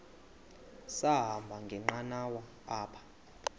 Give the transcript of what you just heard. sahamba ngenqanawa apha